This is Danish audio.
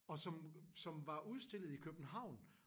Og som som var udstillet i København